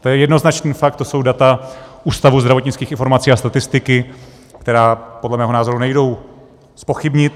To je jednoznačný fakt, to jsou data Ústavu zdravotnických informací a statistiky, která podle mého názoru nejdou zpochybnit.